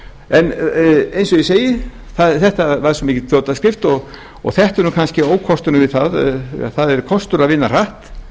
en eins og ég ætti þetta var svo mikil fljótaskrift og þetta er kannski ókosturinn við það eða það er kostur að vinna hratt